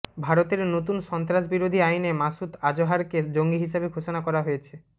ভারত নতুন সন্ত্রাসবিরোধী আইনে মাসুদ আজহারকে জঙ্গি হিসেবে ঘোষণা করা হয়েছে